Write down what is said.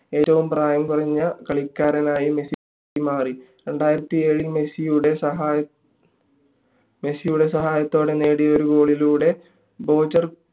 ഏറ്റവും പ്രായം കുറഞ്ഞ കളിക്കാരനായി മെസ്സി മാറി മെസ്സിയുടെ സഹായ മെസ്സിയുടെ സാഹത്തോടെ നേടിയ ഒരു goal ലൂടെ ബോജൻ